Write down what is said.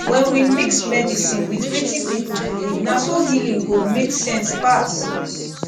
when we mix medicine with wetin people believe na so healing go make sense pass